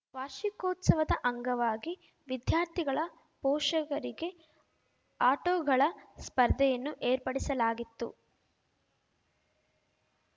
ವಾರ್ಷಿಕೋತ್ಸವದ ಅಂಗವಾಗಿ ವಿದ್ಯಾರ್ಥಿಗಳ ಪೋಷಕರಿಗೆ ಆಟೋಗಳ ಸ್ಪರ್ಧೆಯನ್ನು ಏರ್ಪಡಿಸಲಾಗಿತ್ತು